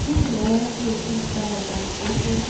Kit neoyoe sikoiityii kiptayatab kokwet